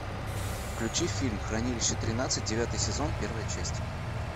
включи фильм хранилище тринадцать девятый сезон первая часть